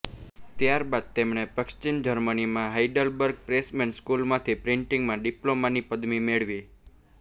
ત્યારબાદ તેમણે પશ્ચિમ જર્મનીમાં હાઇડલબર્ગ પ્રેસમેન સ્કૂલમાંથી પ્રિન્ટિંગમાં ડિપ્લોમાની પદવી મેળવી